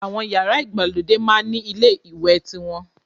Àwọn yàrá ìgbàlódé máá ń ni ilé ìwẹ̀ tiwọn